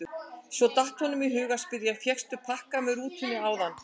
Svo datt honum í hug að spyrja: fékkstu pakka með rútunni áðan?